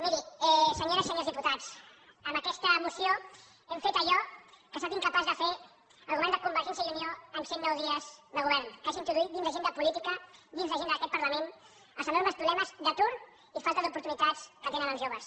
mirin senyores i senyors diputats amb aquesta moció hem fet allò que ha estat incapaç de fer el govern de convergència i unió en cent nou dies de govern que és introduir dins l’agenda política dins l’agenda d’aquest parlament els enormes problemes d’atur i falta d’oportunitats que tenen els joves